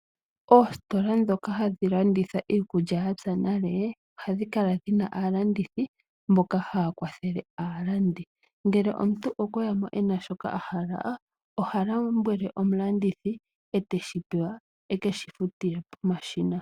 Oositola ndhoka hadhi landitha iikulya yapya nale ohadhi kala dhina aalandithi mboka haya kwathele aalandi, ngele omuntu okweyamo ena shoka ahala oha lombwele omulandithi eteshipewa ekeshi futile pomashina